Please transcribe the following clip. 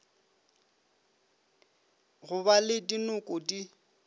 go ba le dinoko di